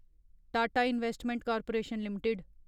Tata investment corporation limited